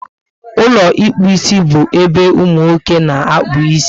Ụlọ ịkpụ isi bu ébé umunwoke na-akpu ịsị